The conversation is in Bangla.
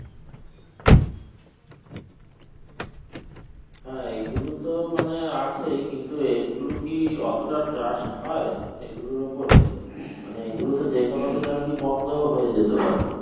হ্যাঁ এই গুলো তো মানে আছেই কিন্তু এই গুলো কি অতোটা trust হয় এই গুলোর উপরে মানে এই গুলোকে যে কোনো দিন আরকি বন্ধও হয়ে যেতে পারে